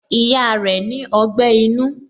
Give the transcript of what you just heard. Ìyá rẹ ni ogbẹ́ inú